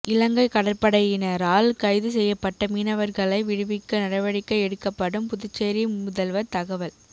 இலங்கை கடற்படையினரால் கைது செய்யப்பட்ட மீனவர்களை விடுவிக்க நடவடிக்கை எடுக்கப்படும் புதுச்சேரி முதல்வர் தகவல்